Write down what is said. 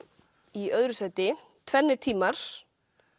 í öðru sæti tvennir tímar